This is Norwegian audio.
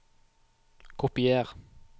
Kopier